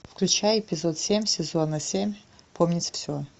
включай эпизод семь сезона семь помнить все